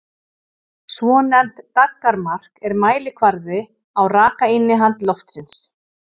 Svonefnt daggarmark er mælikvarði á rakainnihald loftsins.